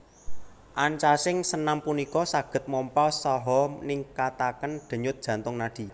Ancasing senam punika saged mompa saha ningkataken denyut jantung nadi